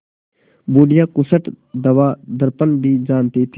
बुढ़िया खूसट दवादरपन भी जानती थी